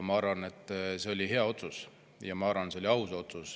Ma arvan, et see oli hea otsus, ja ma arvan, et see oli aus otsus.